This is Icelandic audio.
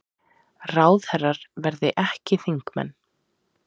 Ráðherrar verði ekki þingmenn